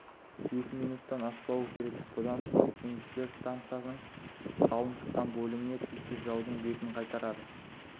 екі минуттан аспауы керек бұдан соң теңізшілер стансаның жалын шыққан бөлімінде тілсіз жаудың бетін қайтарады